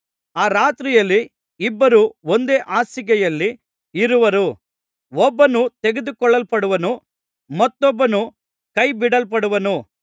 ಆ ರಾತ್ರಿಯಲ್ಲಿ ಇಬ್ಬರು ಒಂದೇ ಹಾಸಿಗೆಯಲ್ಲಿ ಇರುವರು ಒಬ್ಬನು ತೆಗೆದುಕೊಳ್ಳಲ್ಪಡುವನು ಮತ್ತೊಬ್ಬನು ಕೈ ಬಿಡಲ್ಪಡುವನು